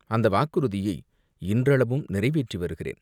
அந்த வாக்குறுதியை இன்றளவும் நிறைவேற்றி வருகிறேன்.